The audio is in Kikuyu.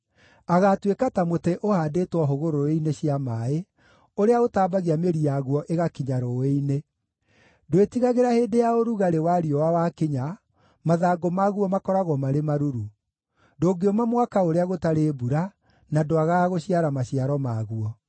Agaatuĩka ta mũtĩ ũhaandĩtwo hũgũrũrũ-inĩ cia maaĩ, ũrĩa ũtaambagia mĩri yaguo ĩgakinya rũũĩ-inĩ. Ndwĩtigagĩra hĩndĩ ya ũrugarĩ wa riũa wakinya; mathangũ maguo makoragwo marĩ maruru. Ndũngĩũma mwaka ũrĩa gũtarĩ mbura, na ndwagaga gũciara maciaro maguo.”